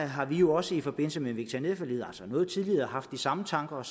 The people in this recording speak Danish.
har vi jo også i forbindelse med veterinærforliget altså noget tidligere haft de samme tanker og